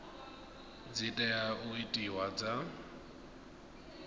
dzi tea u itiwa dza